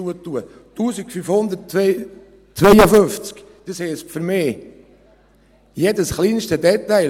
1552: Das heisst für mich, jedes kleinste Detail.